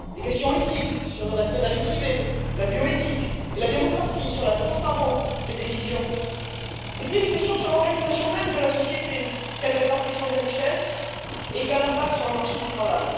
des questions éthiques sur le respect de la vie privée, la bioéthique et la démocratie, sur la transparence des décisions et puis des questions sur l'organisation même de la société quelle répartition des richesses et quel impact sur le marché du travail?